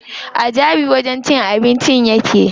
A Jabi wajen cin abincin yake.